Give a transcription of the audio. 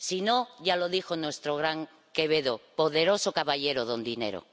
si no, ya lo dijo nuestro gran Quevedo Poderoso caballero es don Dinero.